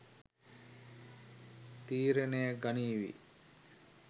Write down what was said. තීරණය ගනීවි